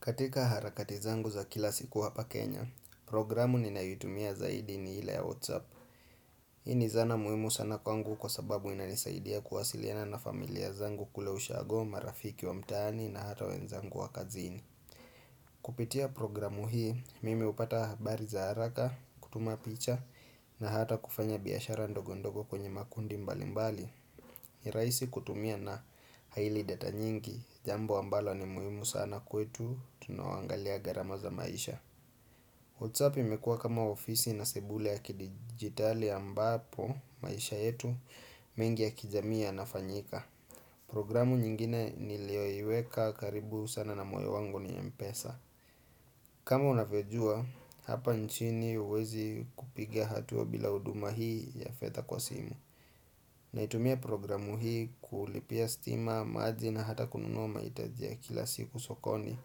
Katika harakati zangu za kila siku hapa Kenya, programu ninayoitumia zaidi ni ile ya WhatsApp. Hii ni zana muhimu sana kwangu kwa sababu inanisaidia kuwasiliana na familia zangu kule ushago, marafiki wamtaani na hata wenzangu wa kazini. Kupitia programu hii, mimi hupata habari za haraka, kutuma picha na hata kufanya biashara ndogo ndogo kwenye makundi mbali mbali. Ni rahisi kutumia na haili data nyingi, jambo ambalo ni muhimu sana kwetu, tunaoangalia gharama za maisha WhatsApp imekua kama ofisi na sebuli ya kidigitali ambapo, maisha yetu, mengi ya kijami yanafanyika Programu nyingine nilioiweka karibu sana na moyo wangu ni mpesa kama unavyojua, hapa nchini huwezi kupiga hatua bila huduma hii ya fedha kwa simu Naitumia programu hii kulipia stima maji na hata kununua mahitaji ya kila siku sokoni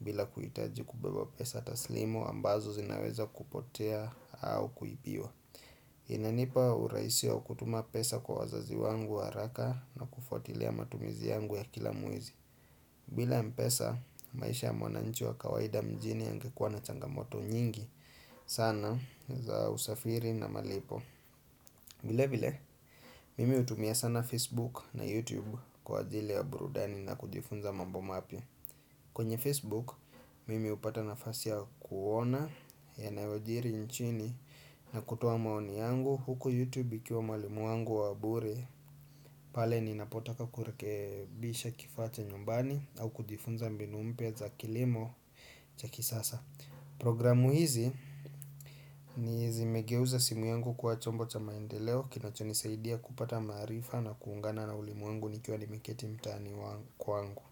bila kuhitaji kubeba pesa taslim ambazo zinaweza kupotea au kuipiwa. Inanipa urahisi wa kutuma pesa kwa wazazi wangu haraka na kufuatilia matumizi yangu ya kila mwezi. Bila mpesa maisha mwananchi wa kawaida mjini yangekuwa na changamoto nyingi sana za usafiri na malipo. Vile vile, mimi hutumia sana Facebook na YouTube kwa ajili ya burudani na kujifunza mambo mapya kwenye Facebook, mimi hupata nafasi kuona yanayojiri nchini na kutoa maoni yangu huku YouTube ikiwa mwalimu wangu wa bure pale ninapotaka kurekebisha kifaa cha nyumbani au kujifunza mbinu mpya za kilimo cha kisasa Programu hizi ni zimegeuza simu yangu kwa chombo cha maendeleo Kinacho nisaidia kupata maarifa na kuungana na ulimwengu nikiwa nimiketi mtani kwangu.